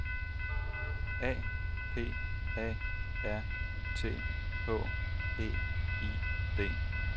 A P A R T H E I D